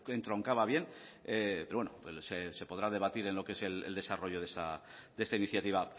entroncaba bien pero bueno se podrá debatir en lo que es el desarrollo de esta iniciativa